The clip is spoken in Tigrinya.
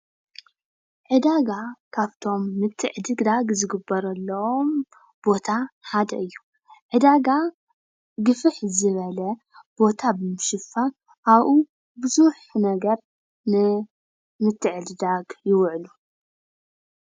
ዕዳጋ ካቶም ምትዕድዳግ ዝግበረሎም ቦታ ሓደ እዩ ። ዕደጋ ግፍሕ ዝበለ ቦታ ብምሽፍን አብኡ ብዙሕ ነገር ንምትዕድዳግ ይውዕሉ።